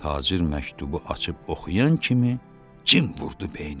Tacir məktubu açıb oxuyan kimi cin vurdu beyninə.